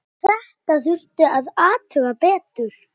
Þetta þurfti að athuga betur.